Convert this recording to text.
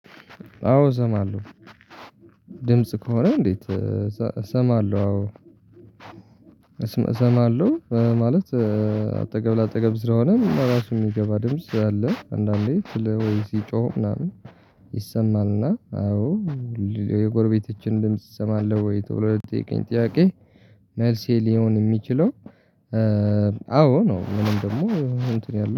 አዎ እሰማለሁ ድምጽ ከሆነ እንዴት? እሰማለሁ አዎ እሰማለሁ ማለት አጠገብ ለአጠገብ ስለሆነ ራሱን የሚገባ ድምጽ አለ። አንዳንዴ ስለ ወይ ሲጮህ ምናምን ይሰማልና አዎ። የጎርቤቶቼን ድምጽ እሰማለሁ ወይ ተብሎ ልተጠይቀኝ ጥያቄ መልሴ ሊሆን የሚችለው አዎ ነው። ምንም ደግሞ እንትን ያለው